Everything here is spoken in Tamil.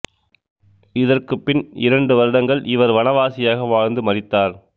இதற்குப் பின் இரண்டு வருடங்கள் இவர் வனவாசியாக வாழ்ந்து மரித்தார்